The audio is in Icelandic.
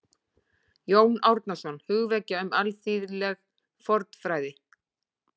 Jón Árnason: Hugvekja um alþýðleg fornfræði